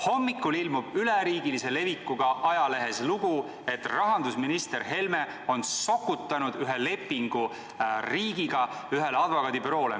Hommikul ilmub üleriigilise levikuga ajalehes lugu, et rahandusminister Helme on sokutanud riigiga sõlmitud lepingu ühele advokaadibüroole.